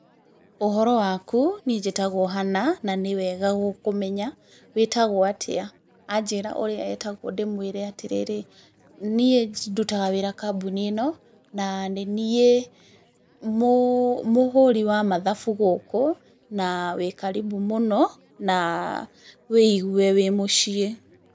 Ũhoro waku? Niĩ njĩtagwo Hannah, na nĩ wega gũkũmenya. Witagwo atĩa? Anjĩra ũrĩa etagwo ndĩmwĩre atĩrĩrĩ, niĩ ndutaga wĩra kambuni ĩno, na nĩniĩ mũhũri wa mathabu gũkũ, na wĩ karimbu mũno, na wĩigwe wĩ mũciĩ.